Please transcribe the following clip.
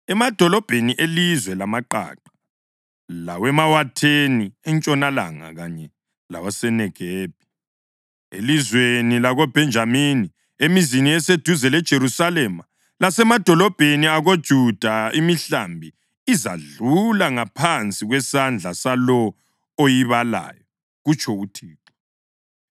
Emadolobheni elizwe lamaqaqa, lawemawatheni entshonalanga kanye lawaseNegebi, elizweni lakoBhenjamini, emizini eseduze leJerusalema lasemadolobheni akoJuda, imihlambi izadlula ngaphansi kwesandla salowo oyibalayo,’ kutsho uThixo.